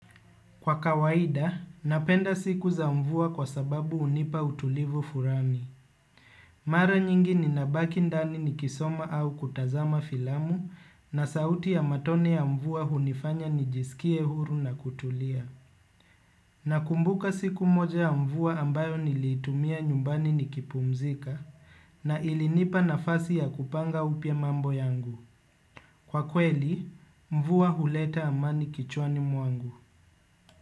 Kwa kawaida, napenda siku za mvua kwa sababu hunipa utulivu fulani. Mara nyingi ninabaki ndani nikisoma au kutazama filamu na sauti ya matone ya mvua hunifanya nijisikie huru na kutulia. Na kumbuka siku moja ya mvua ambayo nilitumia nyumbani nikipumzika na ilinipa nafasi ya kupanga upya mambo yangu. Kwa kweli, mvua huleta amani kichwani mwangu.